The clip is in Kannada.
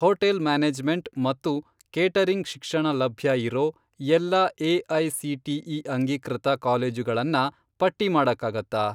ಹೋಟೆಲ್ ಮ್ಯಾನೇಜ್ಮೆಂಟ್ ಮತ್ತು ಕೇಟರಿಂಗ್ ಶಿಕ್ಷಣ ಲಭ್ಯ ಇರೋ ಎಲ್ಲಾ ಎ.ಐ.ಸಿ.ಟಿ.ಇ. ಅಂಗೀಕೃತ ಕಾಲೇಜುಗಳನ್ನ ಪಟ್ಟಿ ಮಾಡಕ್ಕಾಗತ್ತಾ?